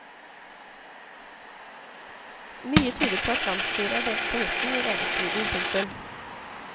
Mye tyder på at landsstyret er delt på midten i lederstriden. punktum